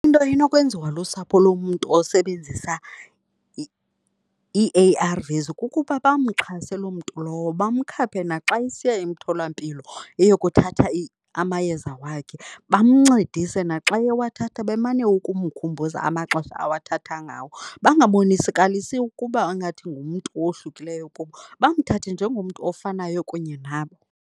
Into enokwenziwa lusapho lomntu osebenzisa ii-A_R_Vs kukuba bamxhase loo mntu lowo bamkhaphe naxa esiya emtholampilo eyokuthatha amayeza wakhe, bamncedise naxa eyewathatha bemane ukumkhumbuza amaxesha awathatha ngawo. Bangabonisikalisi ukuba ingathi ngumntu owohlukileyo kubo, bamthathe njengomntu ofanayo nabo.